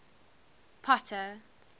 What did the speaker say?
potter